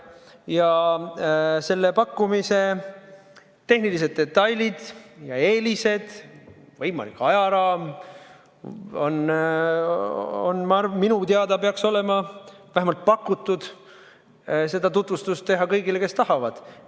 Ja selle pakkumise tehnilised detailid ja eelised, ka võimalik ajaraam – minu teada peaks olema vähemalt pakutud seda tutvustada kõigile, kes tahavad.